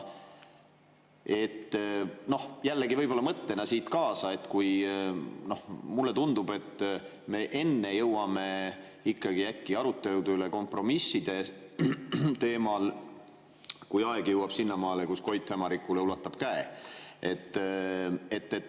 Noh, jällegi võib-olla mõttena siit kaasa: mulle tundub, et me jõuame ikkagi äkki aruteludeni kompromisside teemal enne, kui aeg jõuab sinnamaale, et Koit ulatab Hämarikule käe.